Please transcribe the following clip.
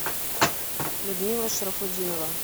людмила шарафутдинова